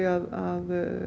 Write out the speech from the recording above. að